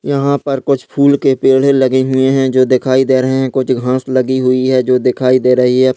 यहां पर कुछ फूल के पेढ़े लगे हुए हैं जो दिखाई दे रहे हैं कुछ घास लगी हुई है जो दिखाई दे रही है।